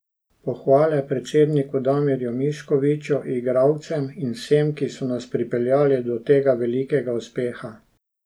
Pohvale predsedniku Damirju Miškoviću, igralcem in vsem, ki so nas pripeljali do tega velikega uspeha.